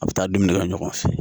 A bɛ taa dumuni kɛ ɲɔgɔn fɛ